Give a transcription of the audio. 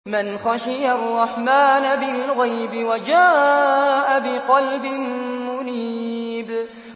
مَّنْ خَشِيَ الرَّحْمَٰنَ بِالْغَيْبِ وَجَاءَ بِقَلْبٍ مُّنِيبٍ